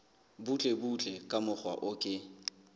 butlebutle ka mokgwa o ke